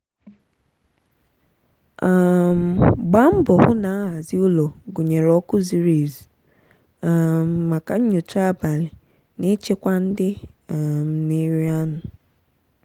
um gbaa mbọ hụ na nhazi ụlọ gụnyere ọkụ zuru ezu um maka nyocha abalị na ịchịkwa ndị um na-eri anụ.